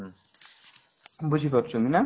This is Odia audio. ବୁଝିପାରୁଛନ୍ତି ନା